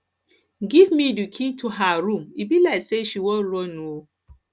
give me the key to her room e be like she wan run um